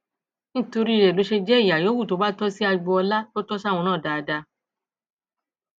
nítorí rẹ ló ṣe jẹ ìyà yòówù tó bá tọ sí agboola tó tọ sáwọn náà dáadáa